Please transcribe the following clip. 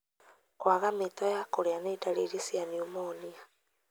Kwaga mĩto ya kũrĩa nĩ ndariri cia pneumonia.